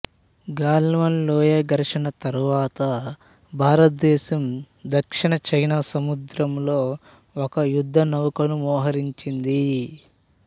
గల్వాన్ లోయ ఘర్షణ తరువాత భారతదేశం దక్షిణ చైనా సముద్రంలో ఒక యుద్ధనౌకను మోహరించింది